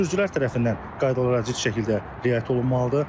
Sürücülər tərəfindən qaydalara ciddi şəkildə riayət olunmalıdır.